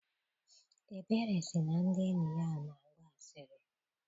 Ebere sị na ndị enyi ya na-agba asịrị.